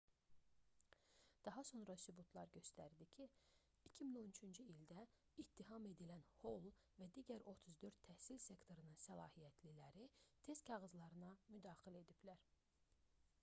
daha sonra sübutlar göstərdi ki 2013-cü ildə ittiham edilən hol və digər 34 təhsil sektorunun səlahiyyətliləri test kağızlarına müdaxilə ediblər